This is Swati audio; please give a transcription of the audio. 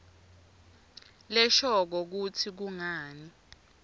leshoko kutsi kungani